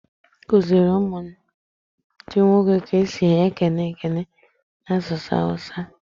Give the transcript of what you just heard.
I kuziri ụmụ m ndi nwoke ka esi ekene ekele n'asụsụ awusa?